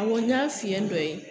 Awɔ n y'a fiyɛn dɔ ye.